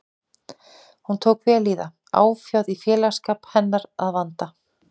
Hún tók vel í það, áfjáð í félagsskap hennar að vanda.